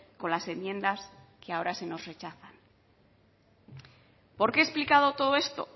con las enmiendas que ahora se nos rechazan por qué he explicado todo esto